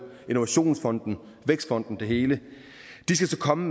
innovationsfonden vækstfonden det hele skal så komme